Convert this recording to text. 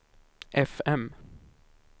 fm